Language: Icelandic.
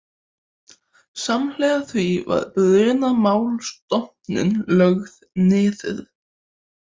Samhliða því var Brunamálastofnun lögð niður